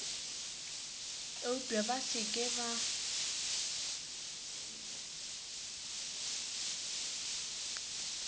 eupša ba se ke ba